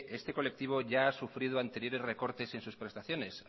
este colectivo ya ha sufrido anteriores recortes en sus prestaciones